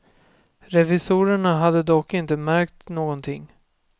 Revisorerna hade dock inte märkt någonting.